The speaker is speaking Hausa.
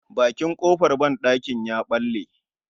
Marikin kofar banɗakin ya bale